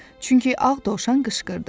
Çünki ağ dovşan qışqırdı: